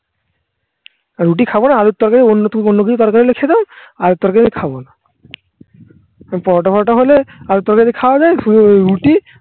আর রুটি খাবো না আলুর তরকারি অন্য টুকু অন্য কিছু তরকারি হলে খেতাম আলুর তরকারি খাবো না পরোটা পরোটা হলে আলুর তরকারি খাওয়া যায় রুটি